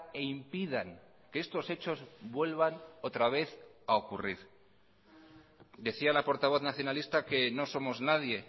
e impidan que estos hechos vuelvan otra vez a ocurrir decía la portavoz nacionalista que no somos nadie